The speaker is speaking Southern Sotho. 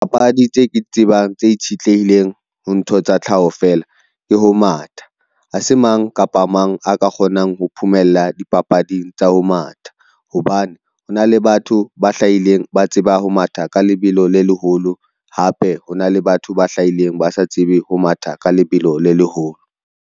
Papadi tse ke di tsebang tse itshitlehileng ho ntho tsa tlhaho fela ke ho matha. Ha se mang kapa mang a ka kgonang ho phomella dipapading tsa ho matha, hobane hona le batho ba hlahileng ba tseba ho matha ka lebelo le leholo, hape hona le batho ba hlahileng ba sa tsebe ho matha ka lebelo le leholo.